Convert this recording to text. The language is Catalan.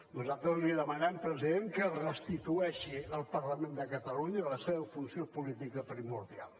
nosaltres li demanem president que restitueixi al parlament de catalunya la seva funció política primordial